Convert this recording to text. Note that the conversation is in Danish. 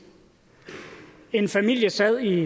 en familie sad i